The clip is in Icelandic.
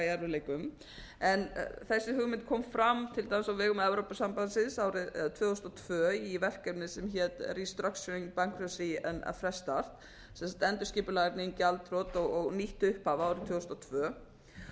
í erfiðleikum þessi hugmynd kom fram til dæmis á vegum evrópusambandsins árið tvö þúsund og tvö í verkefni sem hét restructuring bankruptcy and a fresh start sem sagt endurskipulagning gjaldþrot og nýtt upphaf árið tvö þúsund